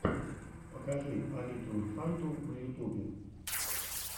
покажи алиту инфанту на ютубе